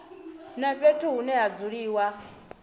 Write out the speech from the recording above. na fhethu hune ha dzuliwa